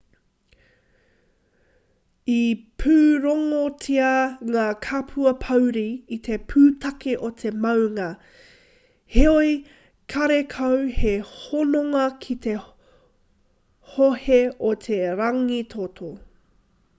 i pūrongotia ngā kapua pōuri i te pūtake o te maunga heoi karekau he hononga ki te hohe o te rangitoto